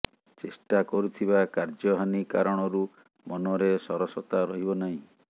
ଚେଷ୍ଟା କରୁଥିବା କାର୍ଯ୍ୟ ହାନୀ କାରଣରୁ ମନରେ ସରସତା ରହିବ ନାହିଁ